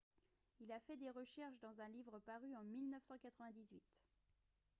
il a fait des recherches dans un livre paru en 1998